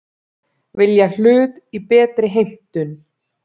Vilja hlut í betri heimtum